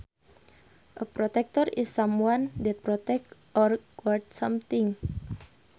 A protector is someone that protects or guards something